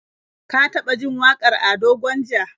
Ka taɓa jin wakar Ado Gwanja?